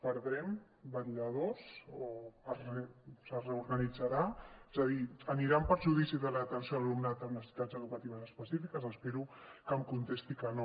perdrem vetlladors o es reorganitzarà és a dir anirà en perjudici de l’atenció a l’alumnat amb necessitats educatives específiques espero que em contesti que no